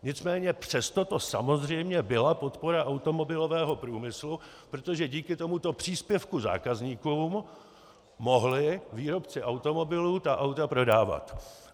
Nicméně přesto to samozřejmě byla podpora automobilového průmyslu, protože díky tomuto příspěvku zákazníkům mohli výrobci automobilů ta auta prodávat.